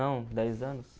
Não dez anos.